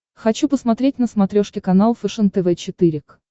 хочу посмотреть на смотрешке канал фэшен тв четыре к